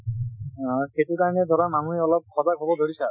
অ এইটো time ত ধৰা মানুহে অলপ সজাগ হব ধৰিছে আৰু